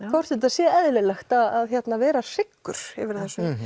hvort þetta sé eðlilegt að vera hryggur yfir